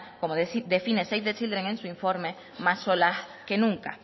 como define save the children en su informe más solas que nunca